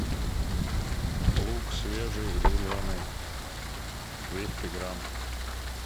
лук свежий зеленый двести грамм